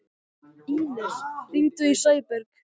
Ínes, hringdu í Sæberg.